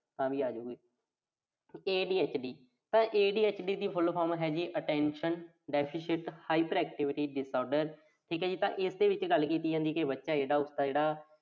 ਤਾਂ ਵੀ ਆਜੂ ਗੀ। ADHD ਤਾਂ ADHD ਦੀ full form ਹੈ ਜੀ Attention Deficit Hyperactivity disorder ਠੀਕ ਆ ਜੀ, ਤਾਂ ਇਸਦੇ ਵਿੱਚ ਗੱਲ ਕੀਤੀ ਜਾਂਦੀ ਆ ਵੀ, ਬੱਚਾ ਜਿਹੜਾ ਉਸਦਾ ਜਿਹੜਾ